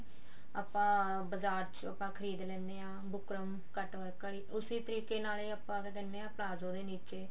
ਆਪਾਂ ਬਜ਼ਾਰ ਚੋਂ ਆਪਾਂ ਖਰੀਦ ਲੈਨੇ ਆ ਬੁਕਰਮ cut work ਆਲੀ ਉਸੀ ਤਰੀਕੇ ਦੇ ਨਾਲ ਆਪਾਂ ਦਿੰਨੇ ਆ ਪਲਾਜ਼ੋ ਦੇ ਨੀਚੇ